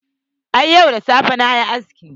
A'a, yau da safe na yi aski.